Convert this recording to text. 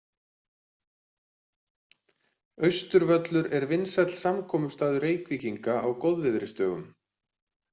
Austurvöllur er vinsæll samkomustaður Reykvíkinga á góðviðrisdögum.